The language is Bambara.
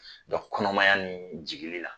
Dɔnku kɔnɔmaya ni jigili la